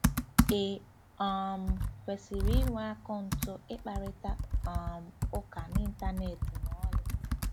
Ị um kwesịrị ịnwe akaụntụ ịkparịta um ụka n'Ịntanet ma ọlị?